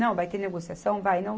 Não, vai ter negociação, vai não.